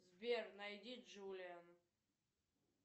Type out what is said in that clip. сбер найди джулиан